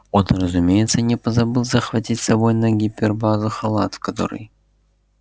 он разумеется не позабыл захватить с собой на гипербазу халат в который